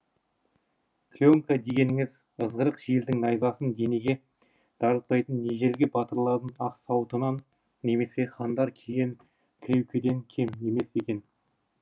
клеенка дегеніңіз ызғырық желдің найзасын денеге дарытпайтын ежелгі батырлардың ақ сауытынан немесе хандар киген кіреукеден кем емес екен